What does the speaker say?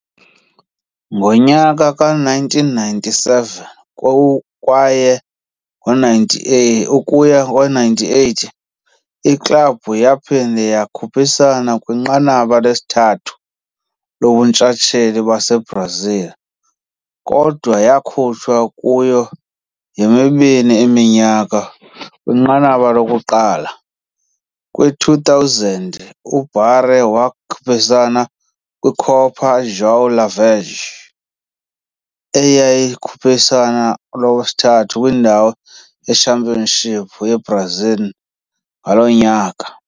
Ngo-1997 kwaye ngo-98 ukuya ngo-1998, iklabhu yaphinda yakhuphisana kwiNqanaba lesithathu lobuNtshatsheli baseBrazil, kodwa yakhutshwa kuyo yomibini iminyaka kwinqanaba lokuqala. Kwi-2000, uBaré wakhuphisana kwiCopa João Havelange, eyayilukhuphiswano olwathatha indawo ye-Championship yaseBrazil ngaloo nyaka.